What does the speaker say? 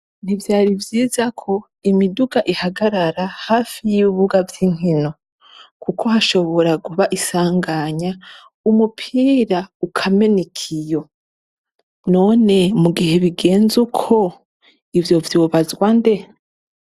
Ntivyari vyiza ko imiduga ihagarara hafi yibibuga vyinkino kuko hashobora kuba isanganya umupira ukamena ikiyo. None mu gihe bigenze uko ivyo vyobazwa nde?